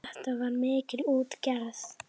Þetta var mikil útgerð.